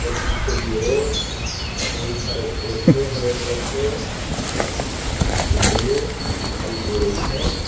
और पीछे की ओर बहुत सारे पौधे हरे कलर के और कुछ बिल्डिंगे दिखाई दे रही हैं।